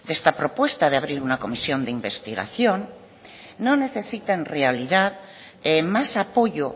esta propuesta de abrir una comisión de investigación no necesita en realidad más apoyo